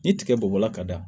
Ni tiga bɔla ka da